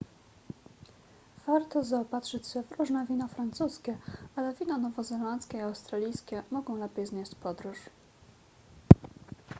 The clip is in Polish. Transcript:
warto zaopatrzyć się w różne wina francuskie ale wina nowozelandzkie i australijskie mogą lepiej znieść podróż